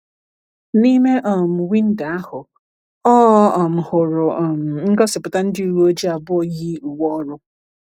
N’ime um windo ahụ, ọ um hụrụ um ngosipụta ndị uwe ojii abụọ yi uwe ọrụ.